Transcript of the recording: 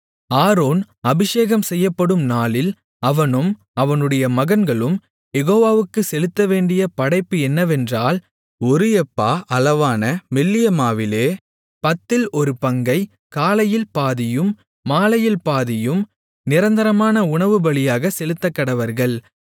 Aaron அபிஷேகம் செய்யப்படும் நாளில் அவனும் அவனுடைய மகன்களும் யெகோவாவுக்குச் செலுத்தவேண்டிய படைப்பு என்னவென்றால் ஒரு எப்பா அளவான மெல்லிய மாவிலே பத்தில் ஒரு பங்கை காலையில் பாதியும் மாலையில் பாதியும் நிரந்தரமான உணவுபலியாகச் செலுத்தக்கடவர்கள்